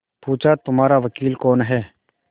पूछाहमारा वकील कौन है